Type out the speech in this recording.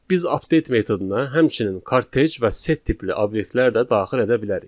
Biz update metoduna həmçinin kartej və set tipli obyektlər də daxil edə bilərik.